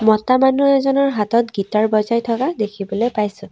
মতা মানুহ এজনৰ হাতত গিটাৰ্ বজাই থকা দেখিবলৈ পাইছোঁ।